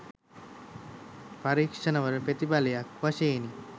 පරීක්‍ෂණවල ප්‍රතිඵලයක් වශයෙනි